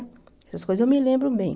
Essas coisas eu me lembro bem.